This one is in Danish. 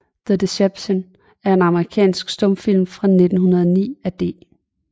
The Deception er en amerikansk stumfilm fra 1909 af D